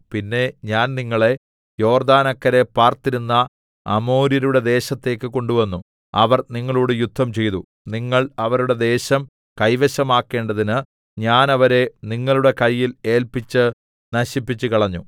പിന്നെ ഞാൻ നിങ്ങളെ യോർദ്ദാനക്കരെ പാർത്തിരുന്ന അമോര്യരുടെ ദേശത്തേക്ക് കൊണ്ടുവന്നു അവർ നിങ്ങളോട് യുദ്ധംചെയ്തു നിങ്ങൾ അവരുടെ ദേശം കൈവശമാക്കേണ്ടതിന് ഞാൻ അവരെ നിങ്ങളുടെ കയ്യിൽ ഏല്പിച്ച് നശിപ്പിച്ചുകളഞ്ഞു